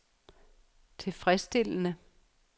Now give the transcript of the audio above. tilfredsstillende